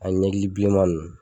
Ani ɲɛkili bilenma ninnu.